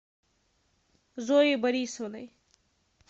зоей борисовной